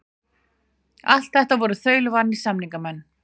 Allt voru þetta þaulvanir samningamenn.